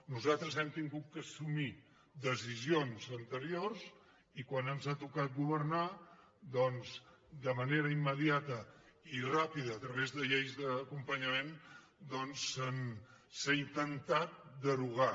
nosaltres hem hagut d’assumir decisions anteriors i quan ens ha to·cat governar doncs de manera immediata i ràpida a través de lleis d’acompanyament doncs s’ha intentat derogar